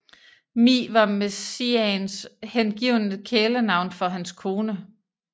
Mi var Messiaens hengivne kælenavn for hans kone